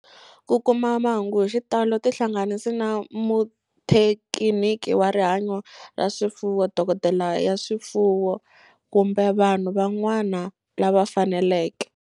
Ku kuma mahungu hi xitalo tihlanganisi na muthekiniki wa rihanyo ra swifuwo, dokodela ya swifuwo, kumbe vanhu van'wana lava fanelekeke.